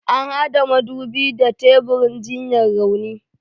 An hada madubin da teburin jinyar rauni.